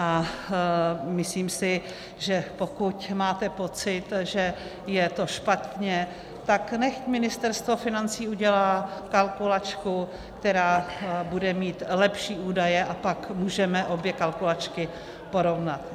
A myslím si, že pokud máte pocit, že je to špatně, tak nechť Ministerstvo financí udělá kalkulačku, která bude mít lepší údaje, a pak můžeme obě kalkulačky porovnat.